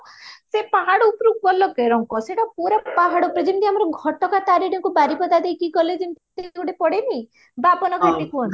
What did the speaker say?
ସେ ପାହାଡ ଉପରକୁ ଗଲା କେରଙ୍କ ସେଟ ପାହାଡ ଉପରେ ଯେମତି ଆମର ଘଟ ଗାଁ ତାରିଣୀଙ୍କୁ ବାରିପଦା ଦେଇକି ଗଲେ ଯେମତି ଗୋଟେ ପଡେନି ବବାନା କୁହନ୍ତି